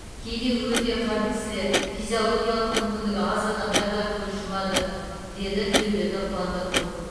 кейде өте қарт кісілер физиологиялық мүмкіндігі аз адамдар да көз жұмады деді тілеуберді қуандықов